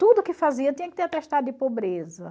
Tudo que fazia tinha que ter atestado de pobreza.